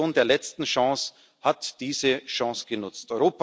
Die Kommission der letzten Chance hat diese Chance genutzt.